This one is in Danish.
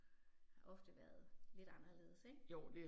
Ofte været lidt anderledes ik